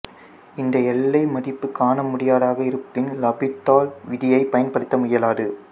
இந்த எல்லை மதிப்பு காண முடியாததாக இருப்பின் லாபிதால் விதியைப் பயன்படுத்த இயலாது